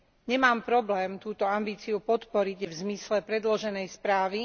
Nemám problém túto ambíciu podporiť v zmysle predloženej správy.